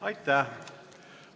Aitäh!